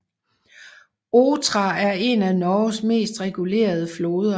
Otra er en af Norges mest regulerede floder